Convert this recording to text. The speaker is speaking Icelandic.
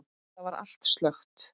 Þar var allt slökkt.